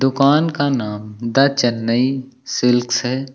दुकान का नाम द चेन्नई शिल्क्स है।